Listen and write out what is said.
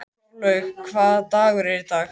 Þorlaug, hvaða dagur er í dag?